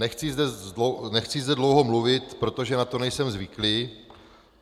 Nechci zde dlouho mluvit, protože na to nejsem zvyklý.